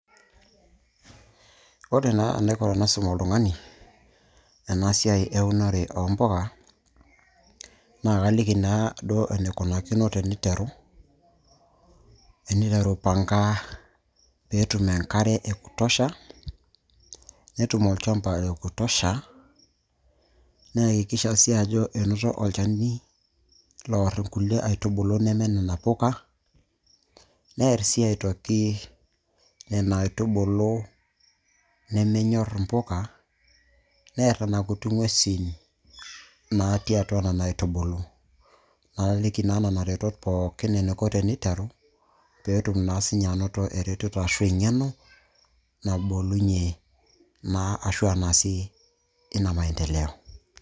ore naa enaiko tenaisum oltung'ani ena siai eunore o mpuka, naa kaliki naaduo enikunakino teniteru. eneteru aipanga peetum enkare ee kutosha netum olchamba lekutosha naihakikisha sii ajo enoto olchani loor inkulie aitubulu neme nena puka, neer sii aitoki nena aitubulu nemenyor im'puka, neer nena kuti ng'uesin natii atua nena aitubulu. naoliki naa nena retot pookin enaiko teneiteru, peetum naa si ninye anoto eretoto ashu eng'eno nabolunye naa ashua naasie ina maendeleo.